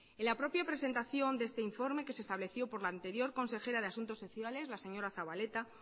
en la propia presentación de este informe que se estableció por la anterior consejera de asuntos sociales la señora zabaleta